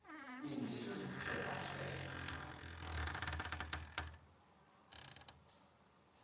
izibizo zithe zahlelwa